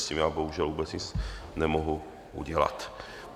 S tím já bohužel vůbec nic nemohu udělat.